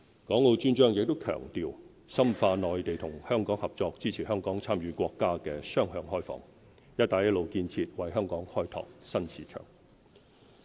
《港澳專章》也強調深化內地與香港合作，支持香港參與國家雙向開放、"一帶一路"建設，為香港開拓新市場。